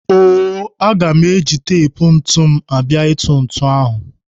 O-o, aga m eji tep ntụ m abịa ịtụ ntụ ahụ.